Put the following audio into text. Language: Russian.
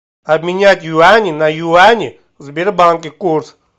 обменять юани на юани в сбербанке курс